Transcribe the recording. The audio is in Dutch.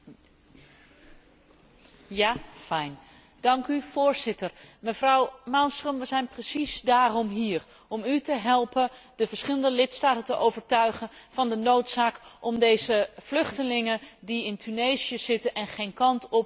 Voorzitter, mevrouw Malmström, we zijn precies daarom hier, om u te helpen de verschillende lidstaten te overtuigen van de noodzaak om deze vluchtelingen die in Tunesië zitten en geen kant op kunnen, te herhuisvesten op het Europese continent.